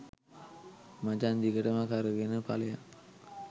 මචං දිගටම කරගෙන පලයන්